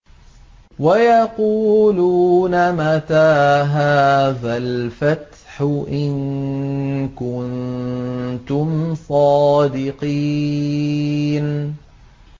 وَيَقُولُونَ مَتَىٰ هَٰذَا الْفَتْحُ إِن كُنتُمْ صَادِقِينَ